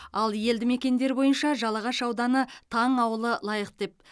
ал елді мекендер бойынша жалағаш ауданы таң ауылы лайық деп